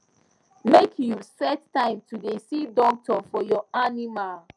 make you set time to da see doctor for your animals